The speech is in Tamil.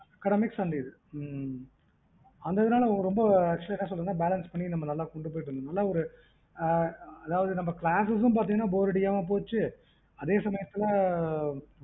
academics and இது அந்த இதுனால actually balance பண்ணி கொண்டு போக முடிந்தது நம்ம classes bore அடிக்காம போச்சி